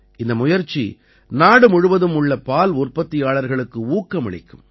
இந்த முயற்சி நாடு முழுவதும் உள்ள பால் உற்பத்தியாளர்களுக்கு ஊக்கமளிக்கும்